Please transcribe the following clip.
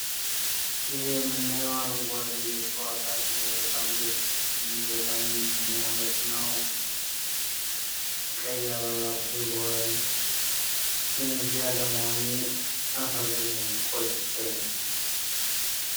ይህ የምናየው አረንጓዴ እጽዋት አለ ፤ በጣም ያምራል ግን እዚህ አለመሆኔ አሳዘነኝ፣ ቆጨኝ።